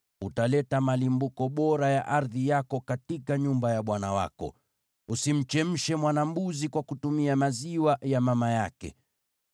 “Utaleta malimbuko bora ya ardhi yako katika nyumba ya Bwana Mungu wako. “Usimchemshe mwana-mbuzi katika maziwa ya mama yake.